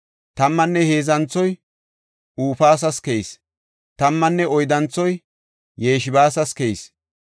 Tammanne heedzanthoy Hupas keyis. Tammanne oyddanthoy Yeshebas keyis.